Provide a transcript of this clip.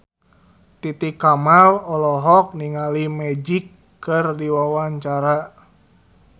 Titi Kamal olohok ningali Magic keur diwawancara